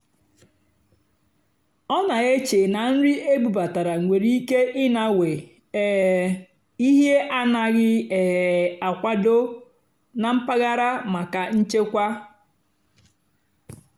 ó nà-èché nà nrì ébúbátàrá nwèrè íké ịnàwé um íhé ánàghị́ um àkwàdó nà mpàgàrà màkà nchèkwà.